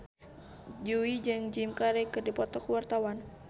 Jui jeung Jim Carey keur dipoto ku wartawan